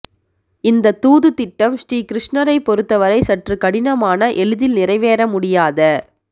இந்த தூது திட்டம் ஸ்ரீ கிருஷ்ணரைப் பொறுத்தவரை சற்று கடினமான எளிதில் நிறைவேற முடியாத